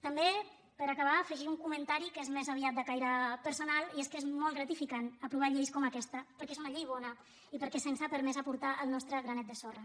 també per acabar afegir un comentari que és més aviat de caire personal i és que és molt gratificant aprovar lleis com aquesta perquè és una llei bona i perquè se’ns ha permès aportar el nostre granet de sorra